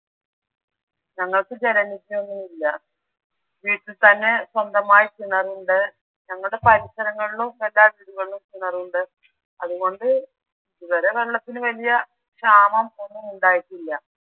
ഞങ്ങൾക്ക് ജലനിധിയൊന്നുമില്ല. വീട്ടിൽ തന്നെ സ്വന്തമായി കിണറുണ്ട്. ഞങ്ങളുടെ പരിസരങ്ങളിലും എല്ലാ വീടുകളിലും കിണറുണ്ട് അതുകൊണ്ട് ഇതുവരെ വെള്ളത്തിന് വലിയ ക്ഷാമം ഒന്നും ഉണ്ടായിട്ടില്ല